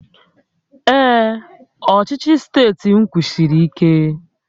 Ee, ọchịchị steeti m kwụsiri ike